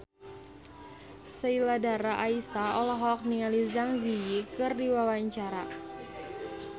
Sheila Dara Aisha olohok ningali Zang Zi Yi keur diwawancara